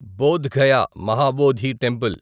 Boath Gaya Mahabodhi temple